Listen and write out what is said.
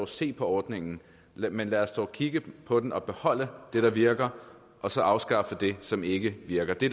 se på ordningen men lad os dog kigge på den og beholde det der virker og så afskaffe det som ikke virker det